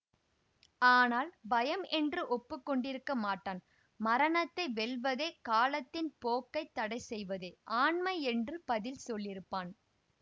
ஆனால் பயம் என்று ஒப்பு கொண்டிருக்க மாட்டான் மரணத்தை வெல்வதே காலத்தின் போக்கை தடைசெய்வதே ஆண்மை என்று பதில் சொல்லியிருப்பான்